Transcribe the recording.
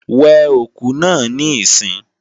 We òkú náà níìsín!